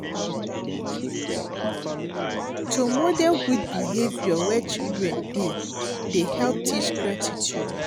To model good behavour where children dey dey help teach gratitude.